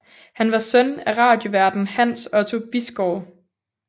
Han var søn af radioværten Hans Otto Bisgaard